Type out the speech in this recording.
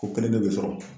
O kelen bɛɛ bɛ sɔrɔ